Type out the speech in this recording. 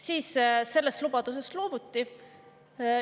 Siis sellest lubadusest loobuti.